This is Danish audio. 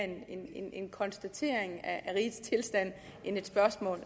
en konstatering af rigets tilstand end et spørgsmål